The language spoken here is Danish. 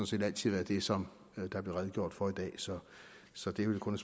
set altid været det som der blev redegjort for i dag så så det er vel kun